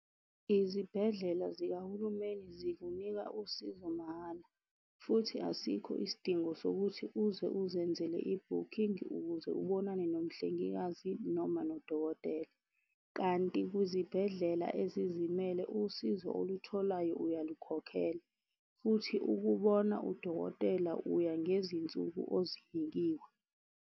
Izibhedlela zikahulumeni zikunika usizo mahhala, futhi asikho isidingo sokuthi uze uzenzele ibhukhingi ukuze ubonane nomhlengikazi noma nodokotela. Kanti kuzibhedlela ezizimele usizo olutholayo, uyalukhokhela futhi ukubona udokotela uya ngezinsuku ozinikiwe.